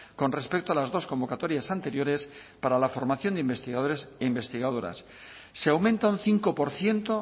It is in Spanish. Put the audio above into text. con respecto a las dos convocatorias anteriores para la formación de investigadores e investigadoras se aumenta un cinco por ciento